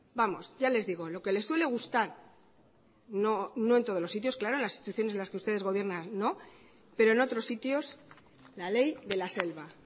vamos lo que le suele gustar no en todos los sitios claro en las instituciones de las que ustedes gobiernan pero en otros sitios la ley de la selva